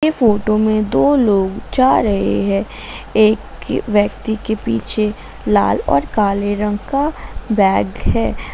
ये फोटो में दो लोग जा रहे हैं एक व्यक्ति के पीछे लाल और काले रंग का बैग है।